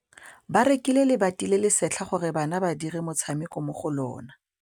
Ba rekile lebati le le setlha gore bana ba dire motshameko mo go lona.